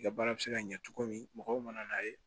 I ka baara bɛ se ka ɲɛ cogo min mɔgɔw mana n'a ye